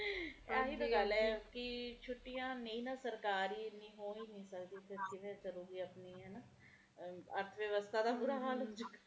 ਇਹੀ ਤੇ ਗੱਲ ਐ ਕੀ ਛੁੱਟੀਆਂ ਨਹੀਂ ਨਾ ਸਰਕਾਰੀ ਹੋ ਨਹੀਂ ਸਕਦਿਆਂ ਐ ਨਾ ਇਸ ਕਰਕੇ ਆਪਣੇ ਐ ਨਾ ਅਰਥਵਿਵਸਥਾ ਦਾ ਬੁਰਾ ਹਾਲ ਹੋ ਜੁ ਗਾ